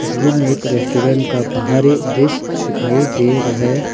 तस्वीर में एक रेस्टोरेंट का बाहरी दृश्य दिखाई दे रहे--